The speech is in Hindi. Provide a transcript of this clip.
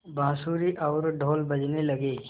बाँसुरी और ढ़ोल बजने लगे